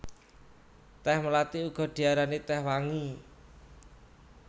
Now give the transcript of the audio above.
Tèh mlathi uga diarani tèh wangi